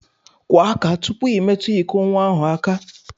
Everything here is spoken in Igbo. Kwọọ aka tụpụ I metu ịkọ nwa ahụ aka!